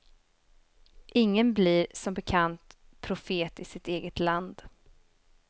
Ingen blir, som bekant, profet i sitt eget land.